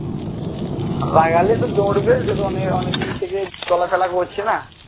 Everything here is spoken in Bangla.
লাগালে একটু দৌড়বে অনেকদিন থেকে চলাফেরা করছেনা